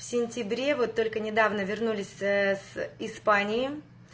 в сентябре вот только недавно вернулись с испании